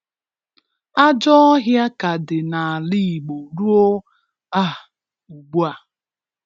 Ajọ ọhịa ka dị n'ala Igbo ruo um ugbua.